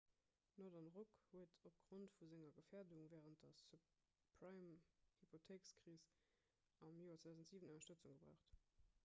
northern rock huet opgrond vu senger gefäerdung wärend der subprime-hypothéikekris am joer 2007 ënnerstëtzung gebraucht